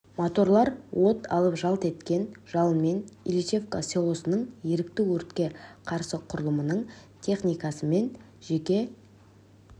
моторлар от алып жалт еткен жалынмен ильичевка селосының ерікті өртке қарсы құрылымының техникасы мен жеке